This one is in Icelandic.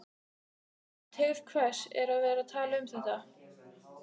En til hvers er að vera að tala um þetta?